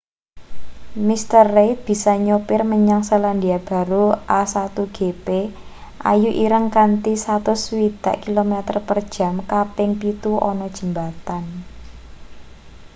mr. reid bisa nyopir menyang selandia baru a1gp ayu.ireng kanthi 160km/j kaping pitu ana jembatan